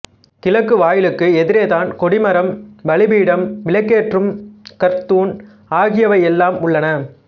கிழக்கு வாயிலுக்கு எதிரேதான் கொடிமரம் பலிபீடம்விளக்கேற்றும் கற்துண் ஆகியவையெல்லாம் உள்ளன